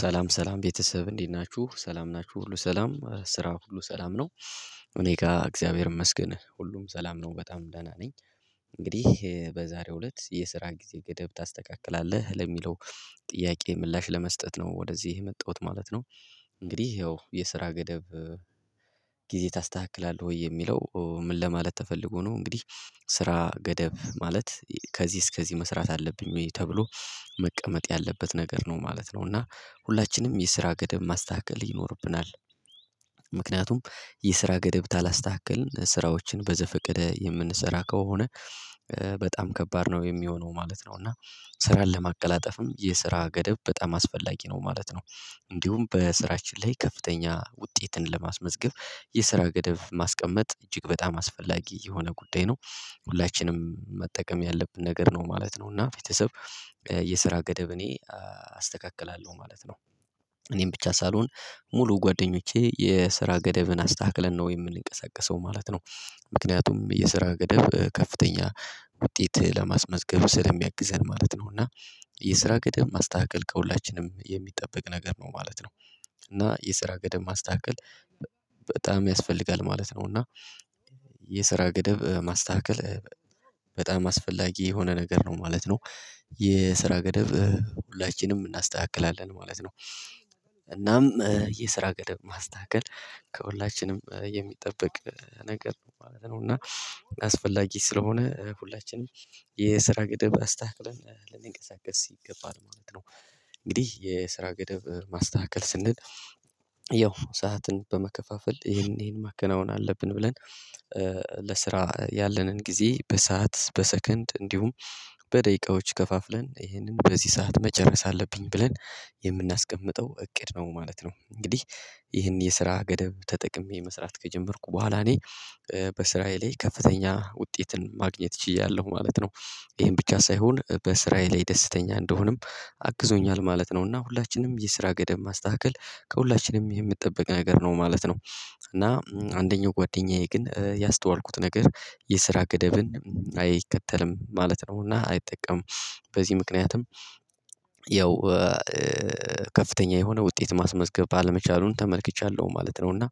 ሰላም ሰላም ቤተሰብ እንዲህ ናችሁ ሰላም ናችሁ ሁሉ ሰላም ስራ ሁሉ ሰላም ነው እኔ ጋር እግዚአብሔር ይመስገን ሁሉም ሰላም ነው በጣም ደህና ነኝ። እንግዲህ በዛሬው እለት የስራ ጊዜ ገደብ ታስተካክላለህ ለሚለው ጥያቄ ምላሽ ለመስጠት ነው ወደዚህ የመጣሁት ማለት ነው። እንግዲህ ይኸው የስራ ገደብ ጊዜ ታስተካክላለህ ወይ የሚለው ምን ለማለት ተፈልጎ ነው? እንግዲህ ስራ ገደብ ማለት ከዚህ እስከዚህ መስራት አለብኝ ወይ ተብሎ መቀመጥ ያለበት ነገር ነው ማለት ነው። እና ሁላችንም የስራ ገደብ ማስተካከል ይኖርብናል። ምክንያቱም የስራ ገደብ ታላስተካክልን ስራዎችን በዘፈቀደ የምንሰራ ከሆነ በጣም ከባድ ነው የሚሆነው ማለት ነው። እና ስራን ለማቀላጠፍም የስራ ገደብ በጣም አስፈላጊ ነው ማለት ነው። እንዲሁም በስራችን ላይ ከፍተኛ ውጤትን ለማስመዝገብ የስራ ገደብ ማስቀመጥ እጅግ በጣም አስፈላጊ የሆነ ጉዳይ ነው። ሁላችንም መጠቀም ያለብን ነገር ነው ማለት ነው። እና ቤተሰብ የስራ ገደብ እኔ አስተካክላለሁ ማለት ነው። እኔን ብቻ ሳልሆን ሙሉ ጓደኞቼ የስራ ገደብን አስተካክለን ነው የምንቀሳቀሰው ማለት ነው። ምክንያቱም የስራ ገደብ ከፍተኛ ውጤት ለማስመዝገቡ ስለሚያግዘን ማለት ነው። እና የስራ ገደብ ማስተካከል ከሁላችንም የሚጠበቅ ነገር ነው ማለት ነው። እና የስራ ገደብ ማስተካከል በጣም ያስፈልጋል ማለት ነው። እና የስራ ገደብ ማስተካከል በጣም አስፈላጊ የሆነ ነገር ነው ማለት ነው። የስራ ገደብ ሁላችንም እናስተካክላለን ማለት ነው። እናም የስራ ገደብ ማስተካከል ከሁላችንም የሚጠብቅ ነገር ነው ማለት ነው። እና አስፈላጊ ስለሆነ ሁላችንም የስራ ግድብ አስታክለን ሲገባን ማለት ነው። እንግዲህ የስራ ገደብ ማስተካከል ስንል ያው ሰዓትን በመከፋፈል ይሄን ይሄን ማከናወን አለብን ብለን ለስራ ያለንን ጊዜ በሰአት በሰከንድ እንዲሁም በደቂቃዎች ከፋፍለን ይህንን በዚህ ሰዓት መጨረስ አለብኝ ብለን የምናስቀምጠው እቅድ ነው ማለት ነው። እንግዲህ ይህን የስራ ገደብ ተጠቅሜ መስራት ከጀመርኩ በኋላ እኔ በእስራኤል ላይ ከፍተኛ ውጤትን ማግኘት ችያለሁ ማለት ነው። ይሄን ብቻ ሳይሆን በእስራኤል ላይ የደስተኛ እንደሆነም አግዞኛል ማለት ነው። እና ሁላችንም የስራ ገደብ ማስተካከል ከሁላችንም የምትጠብቀኝ ነገር ነው ማለት ነው። እና አንደኛው ጓደኛዬ ግን ያስተዋልኩት ነገር የስራ ገደብን አይከተልም ማለት ነውና አይጠቀምም በዚህ ምክንያትም ያው ከፍተኛ የሆነ ውጤት ማስመዝገብ ባለመቻሉን ተመልክቻለሁ ማለት ነው። እና